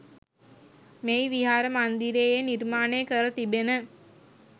මෙහි විහාර මන්දිරයේ නිර්මාණය කර තිබෙන